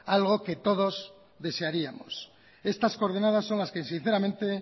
algo que todos desearíamos estas coordenadas son las que sinceramente